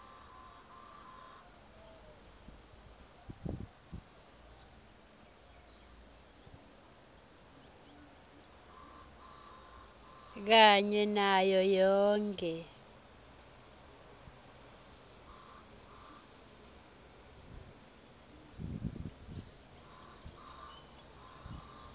kanye nayo yonkhe